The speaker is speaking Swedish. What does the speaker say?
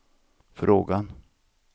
frågan